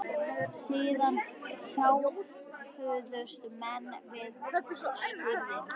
Síðan hjálpuðust menn að við skurðinn.